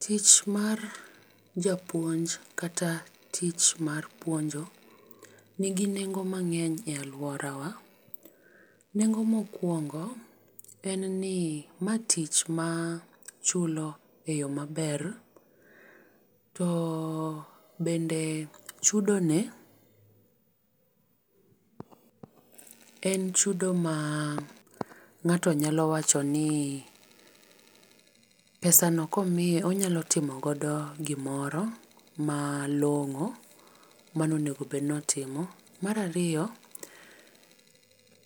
Tich mar japuonj kata tich mar puonjo, nigi nengo mang'eny e alworawa. Nengo mokwongo, en ni ma tich machulo e yo maber. To bende chudo ne en chudo ma ng'ato nyalo wacho ni pesa no komiye, onyalo timo godo gimoro malong'o, mane onego bed ni otimo. Mar ariyo,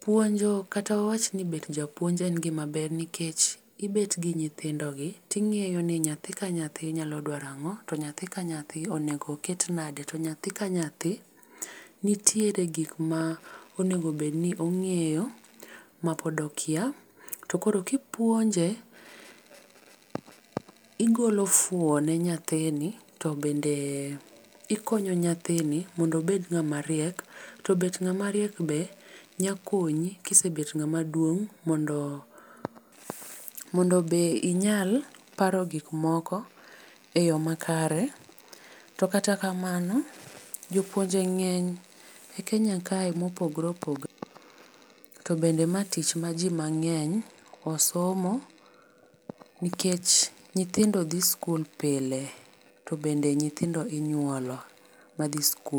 puonjo kata awach ni bedo japuonj en gima ber, nikech ibet gi nyithindogi, ting'eyo ni nyathi ka nyathi nyalo dwaro ang'o, to nyathi ka nyathi onego ket nade, to nyathi ka nyathi, nitiere gik ma onego bed ni ong'eyo ma pod okia. To koro ka ipuonje, igolo fuo ne nyathini to bende ikonyo nyathini mondo obed ng'ama riek, to bet ng'ama riek be nyalo konyi, ka isebet ng'ama duong' mondo mondo be inyal paro gik moko e yo makare. To kata kamano, jopuonje ng'eny e Kenya kae mopogore opogore. To bende mae tich ma ji mang'eny osomo, nikech nyithindo dhi skul pile, to bende nyithindo inyuolo ma dhi skul.